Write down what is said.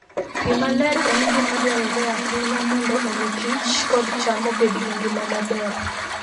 Pi maler en gima dwarore ahinya mondo omi kich kod cham obed gi ngima maber.